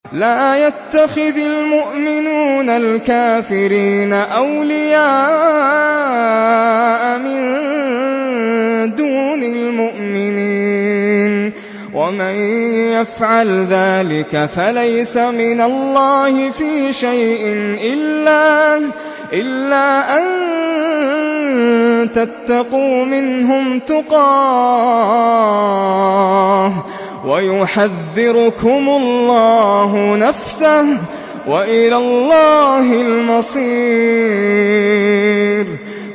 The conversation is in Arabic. لَّا يَتَّخِذِ الْمُؤْمِنُونَ الْكَافِرِينَ أَوْلِيَاءَ مِن دُونِ الْمُؤْمِنِينَ ۖ وَمَن يَفْعَلْ ذَٰلِكَ فَلَيْسَ مِنَ اللَّهِ فِي شَيْءٍ إِلَّا أَن تَتَّقُوا مِنْهُمْ تُقَاةً ۗ وَيُحَذِّرُكُمُ اللَّهُ نَفْسَهُ ۗ وَإِلَى اللَّهِ الْمَصِيرُ